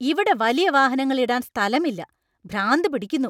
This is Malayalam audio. ഇവിടെ വലിയ വാഹനങ്ങൾ ഇടാൻ സ്ഥലമില്ല. ഭ്രാന്തു പിടിക്കുന്നു.